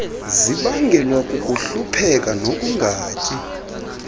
zibangelwa kukuhlupheka nokungatyi